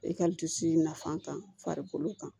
E ka nafan ta farikolo kan